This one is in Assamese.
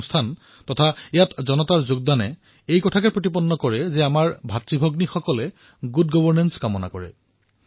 এনেকুৱা কাৰ্যসূচী আৰু ইয়াত জনতাৰ অংশগ্ৰহণে এয়াই প্ৰদৰ্শিত কৰে যে কাশ্মীৰৰ আমাৰ ভাইভনীসকলে উত্তম শাসন ব্যৱস্থা বিচাৰে